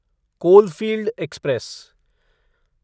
coalfield express